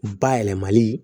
Bayɛlɛmali